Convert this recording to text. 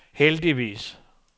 heldigvis